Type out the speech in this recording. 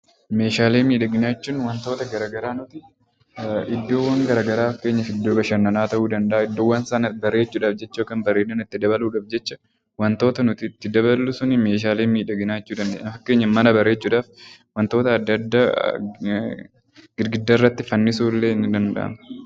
Meeshaalee miidhaginaa jechuun waantota garaagaraa nuti iddoowwan garaagaraa fakkeenyaaf iddoo bashannanaa ta'uu danda'a, iddoowwan sana bareechuuf ta'uu danda'a miidhagina it dabaluuf jecha waantota nuti itti daballu su meeshaalee miidhaginaa jechuu dandeenya. Fakkeenyaaf mana bareechuuf waantota addaa addaa girgiddaa irratti fannisuun illee ni danda'ama.